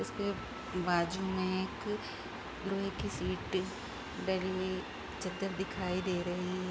इसके बाजू में एक लोहे की सीट डली दिखाई दे रही है।